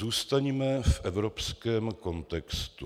Zůstaňme v evropském kontextu.